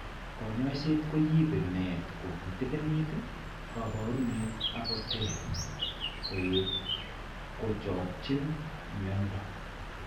Kanyoiset ko yibe met ko kitikiinit kaabarunet ak koter koet kochakchin mnyando.